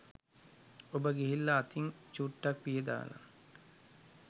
ඔබ ගිහිල්ලා අතින් චුට්ටක් පිහදාලා